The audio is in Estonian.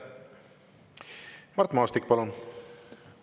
Mart Maastik, palun!